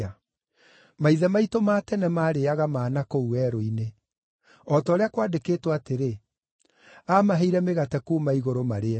Maithe maitũ ma tene maarĩĩaga mana kũu werũ-inĩ; o ta ũrĩa kwandĩkĩtwo atĩrĩ: ‘Aamaheire mĩgate kuuma igũrũ marĩe.’ ”